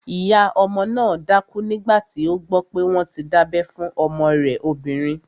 Ìyá ọmọ náà dákú nígbàtí ó gbọ́ pé wọ́n ti dábẹ́ fún ọmọ rẹ̀ obìnrin